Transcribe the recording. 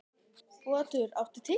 Otur, áttu tyggjó?